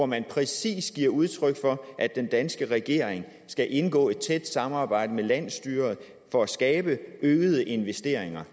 man præcis giver udtryk for at den danske regering skal indgå i et tæt samarbejde med landsstyret for at skabe øgede investeringer